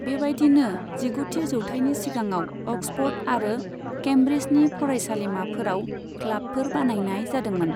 बेबायदिनो, जिगुथि जौथायनि सिगाङाव अक्सफर्ड आरो केम्ब्रिजनि फरायसालिमाफोराव क्लाबफोर बानायनाय जादोंमोन।